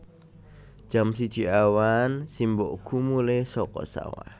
Jam siji awan simbokku mulih saka sawah